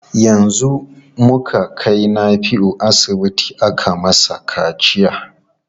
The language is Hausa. Yanzu muka kai Nafiu asibiti aka masa kaciya.